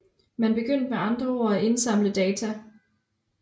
Man begyndte med andre ord at indsamle data